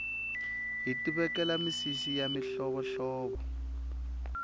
hiti vekela misisi ya mihlovo hlovo